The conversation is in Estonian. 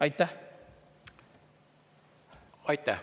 Aitäh!